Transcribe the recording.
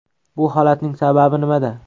Bu holatning sababi nimada?